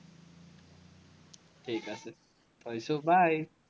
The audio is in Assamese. ঠিক আছে, থৈছো, bye